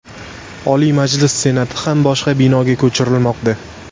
Oliy Majlis Senati ham boshqa binoga ko‘chirilmoqda.